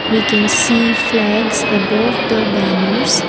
we can see flags above the banners.